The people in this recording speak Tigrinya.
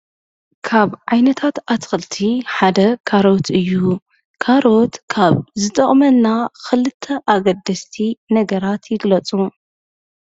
ካብ ዓይነታት ኣትኽልቲ ሓደ ካሮት እዩ፡፡ ካሮት ካብ ዝጠቕመና ኽልተ ኣገደስቲ ነገራት ይግለፁ፡፡